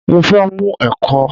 Mo fẹ́ mù ẹ̀kọ